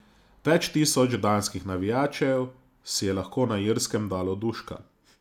Več tisoč danskih navijačev si je lahko na Irskem dalo duška.